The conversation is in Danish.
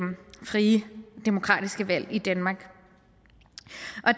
demokratiske valg i danmark